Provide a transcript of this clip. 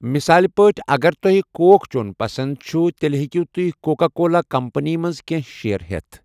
مثال پٲٹھۍ، اگر تۄہہِ کوک چوٚن پسنٛد چھُو، تیٚلہِ ہٮ۪کِو تُہۍ کوکا کولا کمپنی منٛز کینٛہہ شیئر ہٮ۪تھ۔